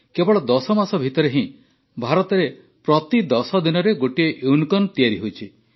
କେବଳ ୧୦ ମାସ ଭିତରେ ହିଁ ଭାରତରେ ପ୍ରତି ୧୦ ଦିନରେ ଗୋଟିଏ ୟୁନିକର୍ଣ୍ଣ ତିଆରି ହୋଇଛି